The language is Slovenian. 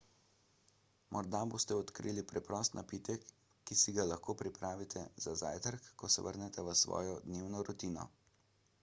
morda boste odkrili preprost napitek ki si ga lahko pripravite za zajtrk ko se vrnete v svojo dnevno rutino